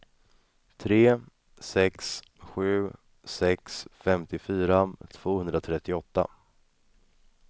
tre sex sju sex femtiofyra tvåhundratrettioåtta